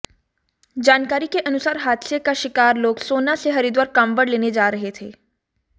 जानकारी के अनुसार हादसे का शिकार लोग सोहना से हरिद्वार कांवड़ लेने जा रहे थे